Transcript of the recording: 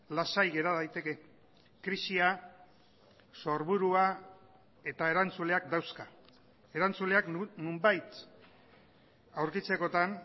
lasai gera daiteke krisia sorburua eta erantzuleak dauzka erantzuleak nonbait aurkitzekotan